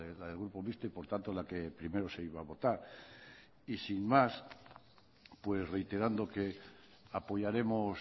la del grupo mixto y por tanto la que primero se iba a votar y sin más pues reiterando que apoyaremos